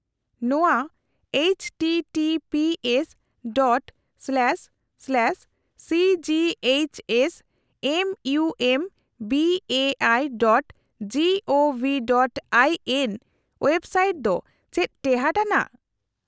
ᱱᱚᱶᱟ-httpsᱺ//cghsmumbaiᱹgovᱹin website ᱫᱚ ᱪᱮᱫ ᱴᱮᱦᱟᱴ ᱟᱱᱟᱜ ?